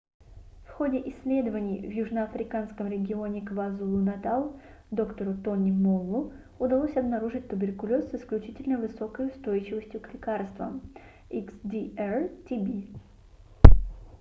в ходе исследований в южноафриканском регионе квазулу-натал доктору тони моллу tony moll удалось обнаружить туберкулез с исключительно высокой устойчивостью к лекарствам xdr-tb